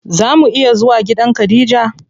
Zaa mu iya zuwa gidan khadija?